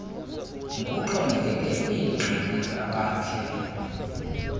ngokuxhomekeke kwiingxaki abakhe